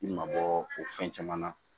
I ma bɔ o fɛn caman na